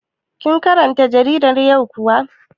Kin karanta jaridar yau kuwa?